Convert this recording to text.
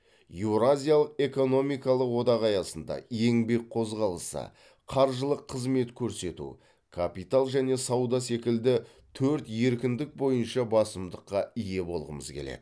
еуразиялық экономикалық одақ аясында еңбек қозғалысы қаржылық қызмет көрсету капитал және сауда секілді төрт еркіндік бойынша басымдыққа ие болғымыз келеді